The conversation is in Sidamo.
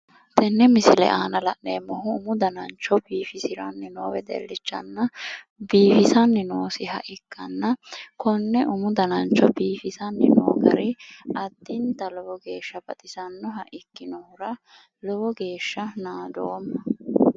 Tenne misile aana la'neemmohu umu danancho biifisiranni noo wedellichanna biifisanni noosiha ikkanna konne umu danancho biifisanni noo gari addinta lowo geeshsha baxissannoha ikkinohura lowo geeshsha naadoomma.